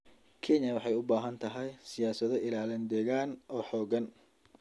Kenya waxay u baahan tahay siyaasado ilaalin deegaan oo xooggan.